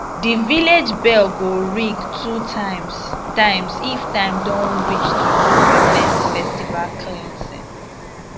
the village bell go ring two times times if time don reach to do harvest festival cleansing